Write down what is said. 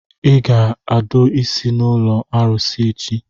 Ị ga-adọ isi n'ụlọ arụsị echi!